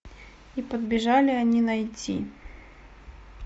и подбежали они найти